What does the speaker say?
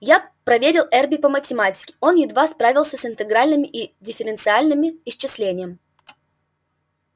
я проверил эрби по математике он едва справился с интегральным и дифференциальным исчислением